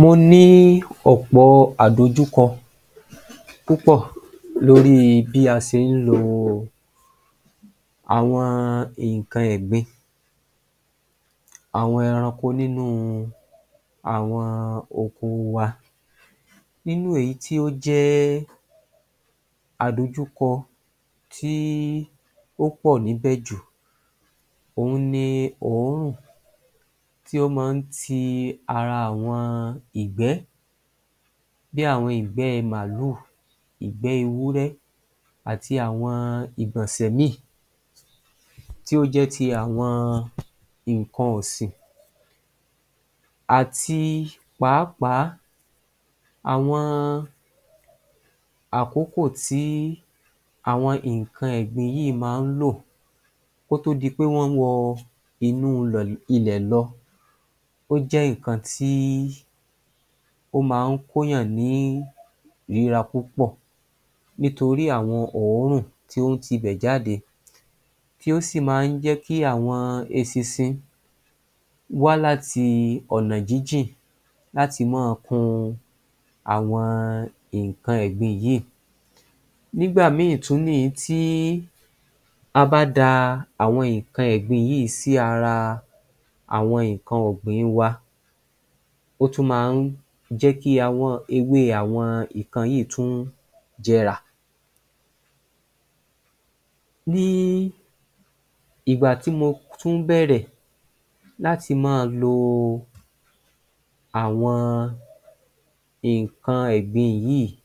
Mo ní ọ̀pọ̀ àdojúkọ púpọ̀ lóri bí a sé ń lo àwọn nǹkan ẹ̀gbin àwọn ẹranko nínú àwọn oko wa. Nínú èyí tí ó jẹ́ àdojúkọ tí ó pọ̀ níbẹ̀ jù òhun ni òórùn tí ó máa ń ti ara àwọn ìgbẹ́ bí àwọn ìgbẹ́ màálù, ìgbẹ́ ewúré àti àwọn ìgbọ̀nsẹ̀ mi tí ó jẹ́ ti àwọn nǹkan ọ̀sìn àti pàápàá àwọn àkókò tí àwọn nǹkan ẹ̀gbin yìí máa ń lò kótó di pé wọ́n wọ inú ilẹ̀ lọ ó jẹ́ nǹkan tí ó máa ń kó èèyàn ní ìrora púpọ̀ nítorí àwọn òórùn tí o tibẹ̀ jáde tí ó sì máa ń jẹ́kí àwọn esinsin wá láti ọ̀nà jíjìn láti máa kun àwọn nǹkan ẹ̀gbin yìí. Nígbà mi tún ni ìyí tí a bá da àwọn nǹkan ẹ̀gbin yìí sí ara àwọn nǹkan ọ̀gbìn wa. Ó tún máa ń jẹ́kí awọ́n ewé àwọn nǹkan yìí tún jẹrà. Ní ìgbà tí mo tún bẹ̀rẹ̀ láti máa lo àwọn nǹkan ẹ̀gbin yìí,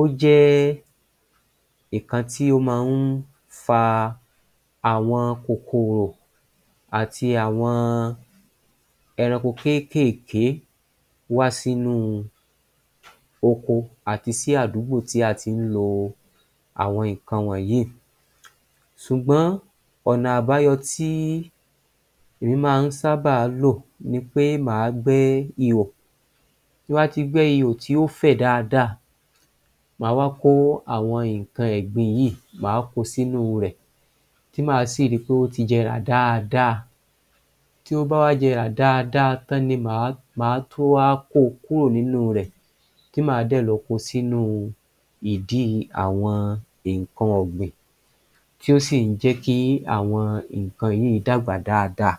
ó jẹ́ nǹkan tí ó máa ń fa àwọn kòkòrò àti àwọn ẹranko kéékèèké wá sínu oko àti sí àdúgbò tí a tí ń lo àwọn nǹkan wọnyìí. Ṣùgbọ́n ọ̀nà àbáyọ tí èmi máa ń sáábà lò ni pé máa gbẹ́ ihò. Tí n bá ti gbẹ́ ihò tí ó fẹ̀ dáadáa máa wá kó àwọn nǹkan ẹ̀gbin yìí, máa ko sínú rẹ̀ tí máa sì ri pé ó ti jẹrà dáadáa. Tí ó bá wá jẹrà dáadáa tán ni máa tó wá ko kúrò nínú rẹ̀ tí máa dẹ̀ lọ ko sínú ìdí àwọn nǹkan ọ̀gbìn tí ó sì ń jẹ́kí àwọn nǹkan yìí dàgbà dáadáa